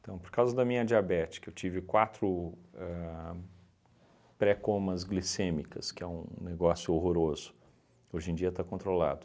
Então, por causa da minha diabete, que eu tive quatro ahn pré-comas glicêmicas, que é um negócio horroroso, hoje em dia está controlado.